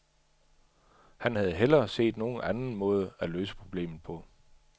Han havde hellere set nogen anden måde at løse problemet på.